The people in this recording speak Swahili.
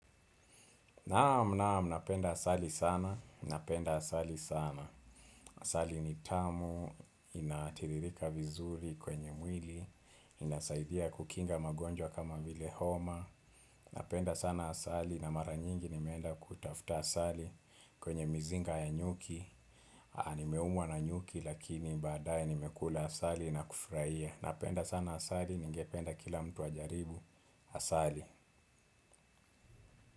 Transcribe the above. Naam naam, napenda asali sana, napenda asali sana. Asali ni tamu, inatiririka vizuri kwenye mwili, inasaidia kukinga magonjwa kama vile homa, napenda sana asali na mara nyingi nimeenda kuitafuta asali kwenye mizinga ya nyuki, na nimeumwa na nyuki lakini badaye nimekula asali na kufurahia. Napenda sana asali, ningependa kila mtu ajaribu, asali.